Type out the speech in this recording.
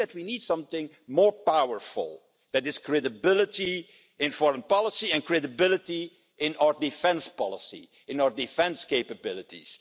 I think that we need something more powerful, which is credibility in foreign policy and credibility in our defence policy, in our defence capabilities.